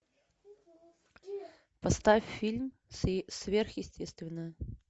поставь фильм сверхъестественное